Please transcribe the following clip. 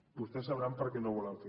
vostès sabran perquè no ho volen fer